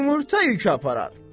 yumurta yükü aparar.